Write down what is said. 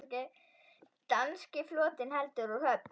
Danski flotinn heldur úr höfn!